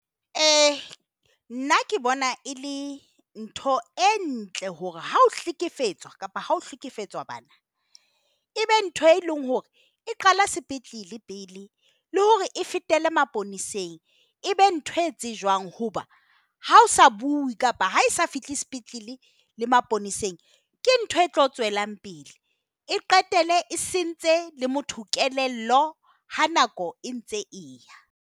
Nna ke bona e le ntho e ntle hore ha o hlekefetswa kapa ho hlekefetswa bana. Ebe ntho e leng hore e qala sepetlele pele le hore e fetele maponeseng. E be ntho e tsejwang hoba ha o sa bue kapa ha e sa fihle sepetlele le maponeseng ke ntho e tlo tswelang pele. E qetelle e sentse le motho kelello ha nako e ntse e ya.